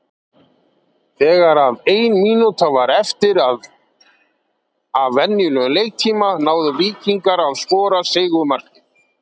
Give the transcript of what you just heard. Þegar að ein mínúta var eftir af venjulegum leiktíma náðu Víkingar að skora sigurmarkið.